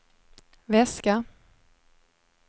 väska